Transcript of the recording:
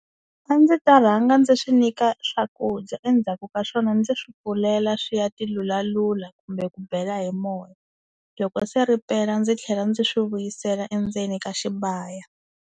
A ndzi ta rhanga ndzi swi nyika swakudya endzhaku ka swona ndzi swi pfulela swi ya tilulalula kumbe ku bela hi moya loko se ripela ndzi tlhela ndzi swi vuyisela endzeni ka xibaya.